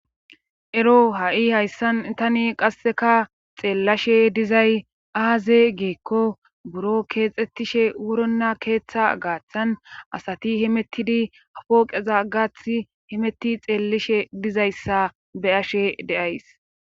Ero ha7i hayssan tani qasseka xeellashe dizay aaze giikko buro keexettishe wuronna keeththa gaaththan asati himettidi apooqeza gaathi himetti xeellishe dizayssa be ashe deays.